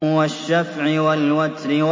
وَالشَّفْعِ وَالْوَتْرِ